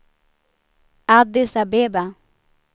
Addis Abeba